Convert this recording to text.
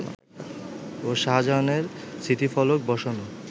ও শাহজাহানের স্মৃতিফলক বসানো